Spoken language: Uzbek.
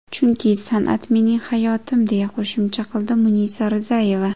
Chunki san’at mening hayotim”, deya qo‘shimcha qildi Munisa Rizayeva.